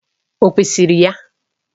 Ọ kwesịrị ya?